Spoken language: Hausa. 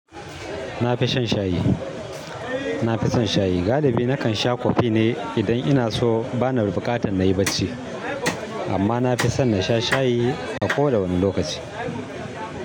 Nafi shan shayi. Nafi son shayi. Galibi nakan sha kofi ne idan inaso bana buƙatan nayi bacci. Amma nafi son nasha shayi a koda wane lokaci.